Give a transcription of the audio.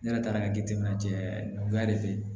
Ne yɛrɛ taara ka jateminɛ cɛya nɔgɔya de